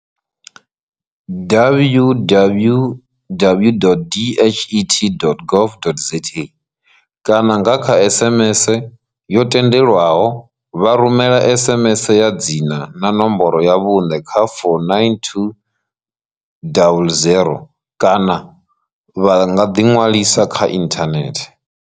www.dhet.gov.za kana nga kha SMS yo tendelwaho vha rumela SMS ya dzina na nomboro ya vhuṋe kha 49200 kana vha nga ḓiṅwalisa kha ithanethe.